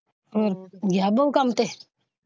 ਹੋਰ ਗਿਆ ਬਹੁ ਕੰਮ ਤੇ।